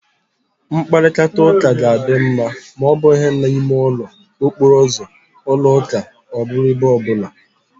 Mkparịta ụka ga-adị ma ọ bụghị na ime ụlọ, okporo ụzọ, ụlọ ụka ọ bụrụ ebe ọ bụla